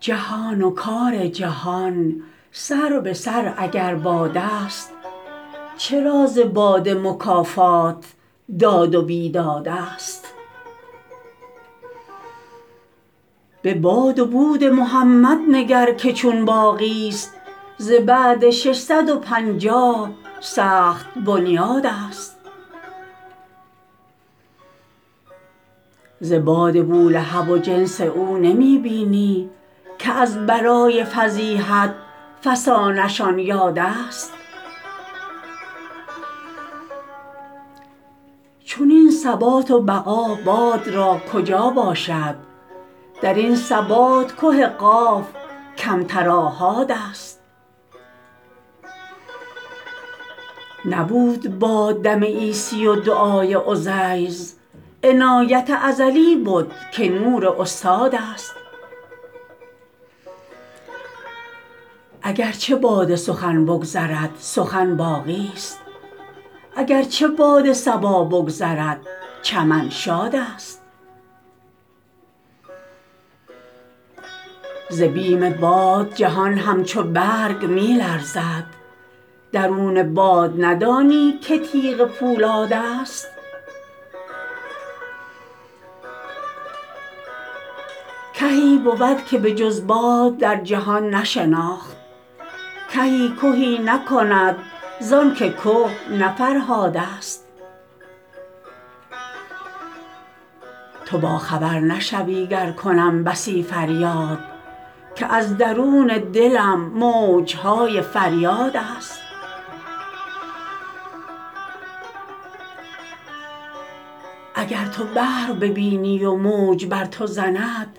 جهان و کار جهان سر به سر اگر بادست چرا ز باد مکافات داد و بیدادست به باد و بود محمد نگر که چون باقیست ز بعد ششصد و پنجاه سخت بنیادست ز باد بولهب و جنس او نمی بینی که از برای فضیحت فسانه شان یادست چنین ثبات و بقا باد را کجا باشد در این ثبات که قاف کمتر آحادست نبود باد دم عیسی و دعای عزیر عنایت ازلی بد که نور استادست اگر چه باد سخن بگذرد سخن باقیست اگر چه باد صبا بگذرد چمن شادست ز بیم باد جهان همچو برگ می لرزد درون باد ندانی که تیغ پولادست کهی بود که به جز باد در جهان نشناخت کهی کهی نکند ز آنک که نه فرهادست تو باخبر نشوی گر کنم بسی فریاد که از درون دلم موج های فریادست اگر تو بحر ببینی و موج بر تو زند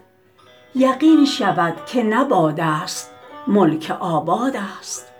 یقین شود که نه بادست ملک آبادست